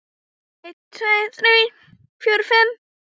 einn. tveir. þrír. fjórir. fimm.